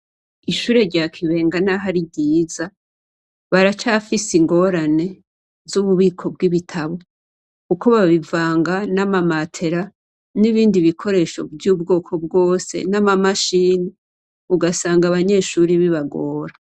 Ishure rya Kibenga naho ari ryiza baracafise ingorane z'ububiko bw'ibitabo kuko babivanga n'amamatera n'ibindi bikoresho vy'ubwoko bwose n'amamashini, ugasanga abanyeshure bibagora.